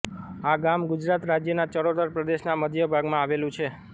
આ ગામ ગુજરાત રાજ્યના ચરોતર પ્રદેશના મધ્યભાગમાં આવેલું છે